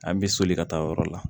An bɛ soli ka taa o yɔrɔ la